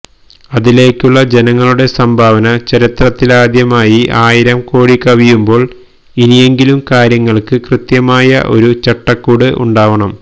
അതിലേക്കുള്ള ജനങ്ങളുടെ സംഭാവന ചരിത്രത്തിലാദ്യമായി ആയിരം കോടി കവിയുമ്പോൾ ഇനിയെങ്കിലും കാര്യങ്ങൾക്ക് കൃത്യമായ ഒരു ചട്ടക്കൂട് ഉണ്ടാവണം